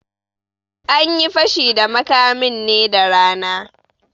Anyi Fashi da makamin ne da rana